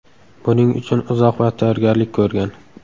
Buning uchun uzoq vaqt tayyorgarlik ko‘rgan.